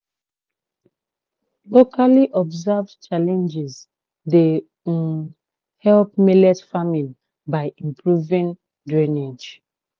locally observed challenges dey um help millet farming by improving drainage."